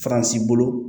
Faransi bolo